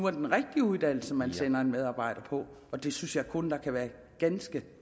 er den rigtige uddannelse man sender en medarbejder på og det synes jeg kun der kan være ganske